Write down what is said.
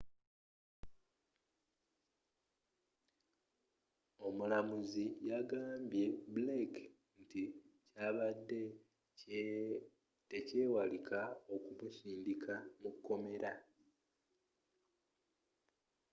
omulamuzzi yagambye blake nti kyabadde tekyewalika okumusindika mukomera